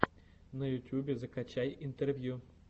на ютюбе закачай интервью